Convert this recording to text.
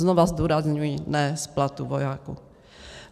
Znova zdůrazňuji, ne z platu vojáků.